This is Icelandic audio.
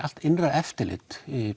allt innra eftirlit